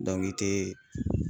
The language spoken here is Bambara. i tɛ